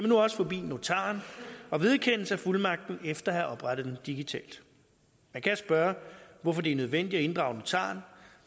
nu også forbi notaren og vedkende sig fuldmagten efter at have oprettet den digitalt man kan spørge hvorfor det er nødvendigt at inddrage notaren